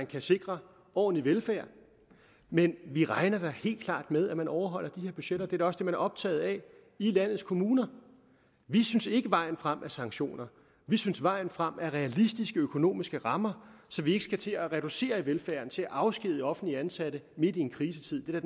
kan sikre ordentlig velfærd men vi regner da helt klart med at man overholder de her budgetter det er da også det man er optaget af i landets kommuner vi synes ikke vejen frem er sanktioner vi synes vejen frem er realistiske økonomiske rammer så vi ikke skal til at reducere i velfærden til at afskedige offentligt ansatte midt i en krisetid det er